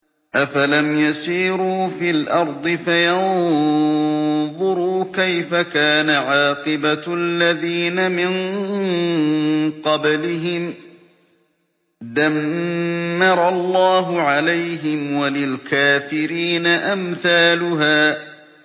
۞ أَفَلَمْ يَسِيرُوا فِي الْأَرْضِ فَيَنظُرُوا كَيْفَ كَانَ عَاقِبَةُ الَّذِينَ مِن قَبْلِهِمْ ۚ دَمَّرَ اللَّهُ عَلَيْهِمْ ۖ وَلِلْكَافِرِينَ أَمْثَالُهَا